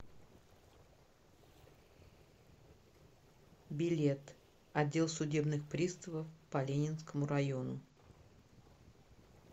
билет отдел судебных приставов по ленинскому району